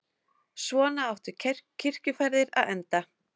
Svona áttu kirkjuferðir að enda.